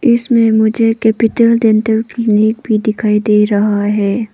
इसमें मुझे capital dental clinic भी दिखाई दे रहा है।